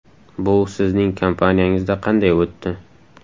Bu sizning kompaniyangizda qanday o‘tdi?